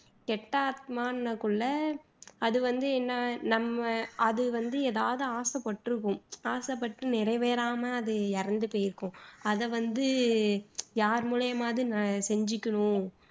கெட்ட ஆத்மான்னாக்குள்ள அது வந்து என்ன அது வந்து எதாவது ஆசை பட்டுருக்கும் நிறைவேறாம அது இறந்து போயிருக்கும் அதை வந்து யார் மூலியமாவது ந செஞ்சுக்கணும்